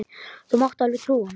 Þú mátt alveg trúa mér!